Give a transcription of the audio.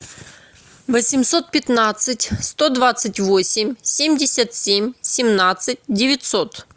восемьсот пятнадцать сто двадцать восемь семьдесят семь семнадцать девятьсот